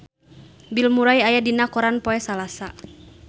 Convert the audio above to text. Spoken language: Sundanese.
Bill Murray aya dina koran poe Salasa